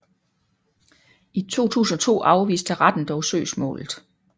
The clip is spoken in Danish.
I 2002 afviste retten dog søgsmålet